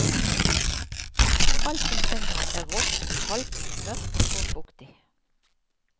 Alt omkring ham er rått, kaldt, mørkt og fuktig.